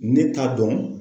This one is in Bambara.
Ne t'a dɔn